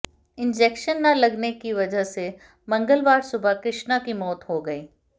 injection न लगने क वजह से मंगलवार सुबह कृष्णा की मौत हो गई